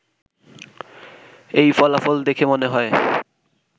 এই ফলাফল দেখে মনে হয়